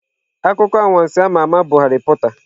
Akụkọ anwansi a ma ama bụ Harry Porter.